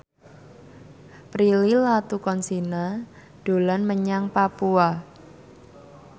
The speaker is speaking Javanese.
Prilly Latuconsina dolan menyang Papua